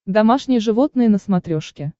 домашние животные на смотрешке